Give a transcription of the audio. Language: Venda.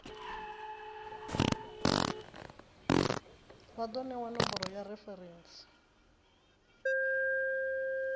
vha do newa nomboro ya referentsi